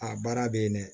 A baara bɛ yen dɛ